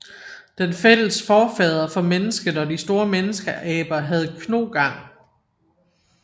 Den fælles forfader for mennesket og de store menneskeaber havde knogang